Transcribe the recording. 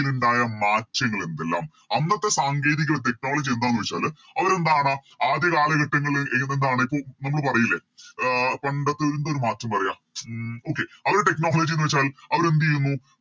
ലുണ്ടായ മാറ്റങ്ങളെന്തെല്ലാം അന്നത്തെ സാങ്കേതിക Technology എന്താന്ന് വെച്ചാല് അവരെന്താണ് ആദ്യ കാലഘട്ടങ്ങളില് എതെന്നാണ് മുമ്പ് പറയിലെ അഹ് പണ്ടത്തെ എന്തൊരു മാറ്റം പറയാ ഉം Okay അവരെ Technology ന്ന് വെച്ചാൽ അവരെന്തേയ്യുന്ന്